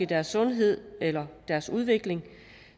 deres sundhed eller deres udvikling